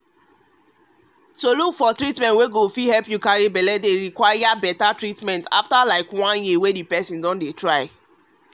to look for treatment to fit carry belle dey require better encouragement after one year wey person don dey try